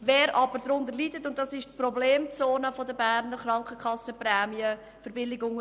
Darunter leidet aber der untere Mittelstand, und dies ist die Problemzone der Berner KrankenkassenPrämienverbilligungen.